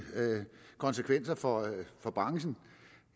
konsekvenser for for branchen